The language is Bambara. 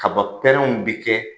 Kaba pɛrɛnw bɛ kɛ